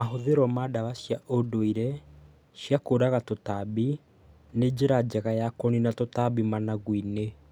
Mahothiro ma ndawa cia ũndũire cia kũũraga tũtambi nĩ njĩra njega ya kũnina tũtambi managu-inĩ.